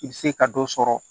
I bɛ se ka dɔ sɔrɔ